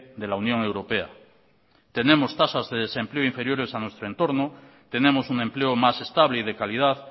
de la unión europea tenemos tasas de desempleo inferiores a nuestro entorno tenemos un empleo más estable y de calidad